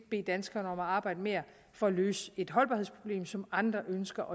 bede danskerne om at arbejde mere for at løse et holdbarhedsproblem som andre ønsker